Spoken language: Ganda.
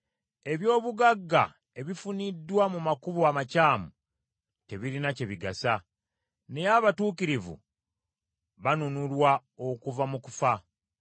Eby’obugagga ebifuniddwa mu makubo amakyamu tebirina kye bigasa, naye abatuukirivu banunulwa okuva mu kufa.